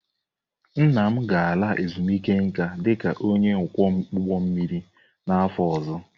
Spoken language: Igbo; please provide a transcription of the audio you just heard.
Nna m ga-ala ezumike nka dị ka onye ọkwọ ụgbọ mmiri n'afọ ọzọ.